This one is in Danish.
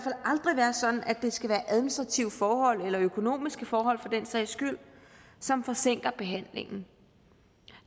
aldrig være sådan at det skal være administrative forhold eller økonomiske forhold for den sags skyld som forsinker behandlingen